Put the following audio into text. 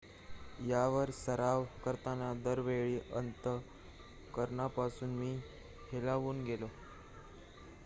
"""यावर सराव करताना दरवेळी अंतःकरणापासून मी हेलावून गेलो.""